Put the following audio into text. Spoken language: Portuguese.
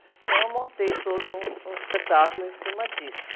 Então, eu montei todo um, um espetáculo em cima disso.